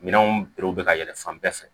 Minɛnw berɛw bɛ ka yɛlɛ fan bɛɛ fɛ